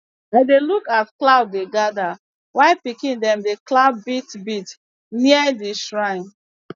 i dey look as cloud dey gather while pikin dem dey clap beat beat near the shrine